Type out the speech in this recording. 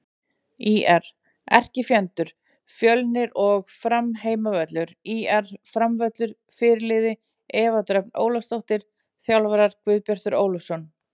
ÍR: Erkifjendur: Fjölnir og Fram Heimavöllur: ÍR-völlurinn Fyrirliði: Eva Dröfn Ólafsdóttir Þjálfarar: Guðbjartur Ólafsson